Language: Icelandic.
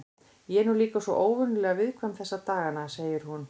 Ég er nú líka svo óvenjulega viðkvæm þessa dagana, segir hún.